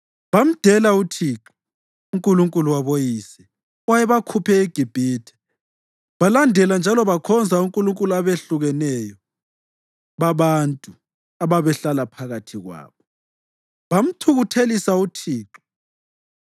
Bamdela uThixo, uNkulunkulu waboyise, owayebakhuphe eGibhithe. Balandela njalo bakhonza onkulunkulu abehlukeneyo babantu ababehlala phakathi kwabo. Bamthukuthelisa uThixo